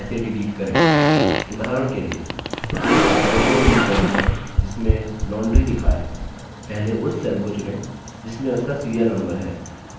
उदाहरण के लिए यदि आपको row डिलीट करनी है जिसमें laundry लिखा है पहले उस cell को चुनें जिसमें उसका serial number है जो है 6